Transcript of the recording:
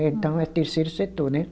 Então é terceiro setor né.